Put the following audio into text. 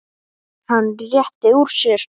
Hann rétti úr sér.